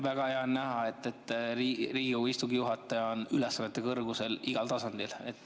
Väga hea on näha, et Riigikogu istungi juhataja on ülesannete kõrgusel igal tasandil.